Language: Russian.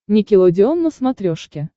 никелодеон на смотрешке